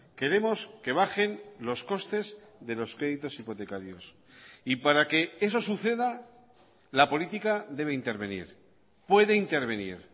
queremos que bajen los costes de los créditos hipotecarios y para que eso suceda la política debe intervenir puede intervenir